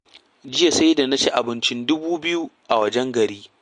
Jiya sai da na ci abincin dubu biyu a wajen gari.